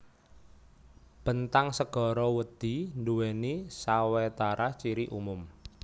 Bentang segara wedhi nduwèni sawetara ciri umum